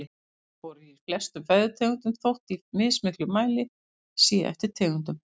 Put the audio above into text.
Fosfór er í flestum fæðutegundum þótt í mismiklum mæli sé eftir tegundum.